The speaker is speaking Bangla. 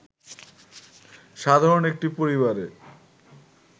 সাধারণ একটি পরিবারে